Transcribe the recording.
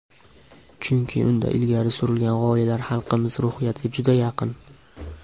Chunki unda ilgari surilgan g‘oyalar xalqimiz ruhiyatiga juda yaqin.